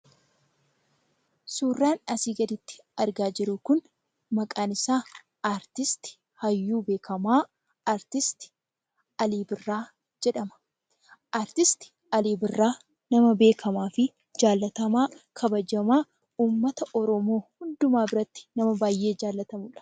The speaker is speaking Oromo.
Suuraan asii gaditti argaa jiru kun maqaan isaa aartisti hayyuu beekkamaa artisti Alii Birraa jedhama. Aartist Alii Birraa nama beekkamaafi jaallatamaa kabajamaa, uummata Oromoo hundumaa biratti nama baayyee jaalatamudha.